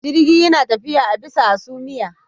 Jirgi yana tafiya a bisa a hasumiya